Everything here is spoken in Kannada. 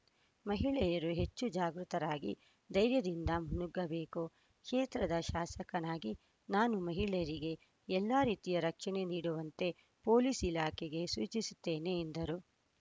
ಮಹಿಳೆಯರು ಹೆಚ್ಚು ಜಾಗೃತರಾಗಿ ಧೈರ್ಯದಿಂದ ಮುನ್ನುಗ್ಗಬೇಕು ಕ್ಷೇತ್ರದ ಶಾಸಕನಾಗಿ ನಾನು ಮಹಿಳೆಯರಿಗೆ ಎಲ್ಲ ರೀತಿಯ ರಕ್ಷಣೆ ನೀಡುವಂತೆ ಪೊಲೀಸ್‌ ಇಲಾಖೆಗೆ ಸೂಚಿಸುತ್ತೇನೆ ಎಂದರು